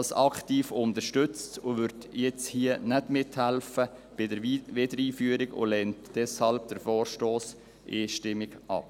Sie wird hier nicht bei deren Wiedereinführung mithelfen und lehnt deshalb den Vorstoss einstimmig ab.